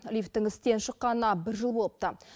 лифттің істен шыққанына бір жыл болыпты